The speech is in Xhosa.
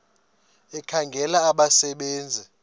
ekhangela abasebe nzi